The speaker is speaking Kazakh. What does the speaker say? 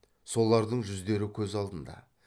солардың жүздері көз алдында